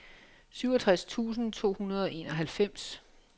syvogtres tusind to hundrede og enoghalvfems